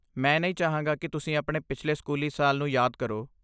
ਮੈਂ ਨਹੀਂ ਚਾਹਾਂਗਾ ਕਿ ਤੁਸੀਂ ਆਪਣੇ ਪਿਛਲੇ ਸਕੂਲੀ ਸਾਲ ਨੂੰ ਯਾਦ ਕਰੋ।